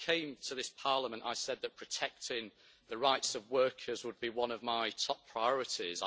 When I came to this Parliament, I said that protecting the rights of workers would be one of my top priorities.